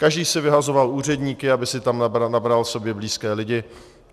Každý si vyhazoval úředníky, aby si tam nabral sobě blízké lidi.